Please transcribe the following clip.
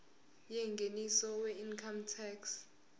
yengeniso weincome tax